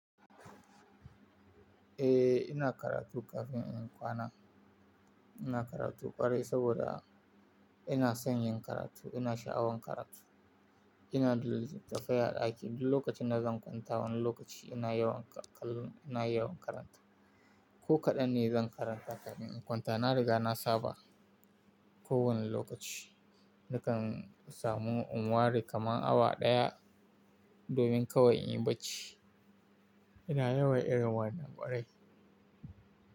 Eh, ina karatu kafin in kwana. Ina karatu ƙwarai saboda ina son yin karatu, ina sha'awan karatu. Ina tafiya a ɗaki duk lokacin da zan kwanta, wani lokaci ina yawan kalon, ina yawan karanta. Ko kaɗan ne zan karanta kafin in kwanta. Na riga na saba kowane lokaci nakan samu un wari kaman awa ɗaya domin kawai in yi barci. Ina yawan irin wannan ƙwarai.